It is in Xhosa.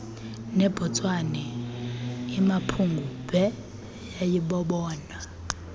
nebotswana imapungubwe yayibobona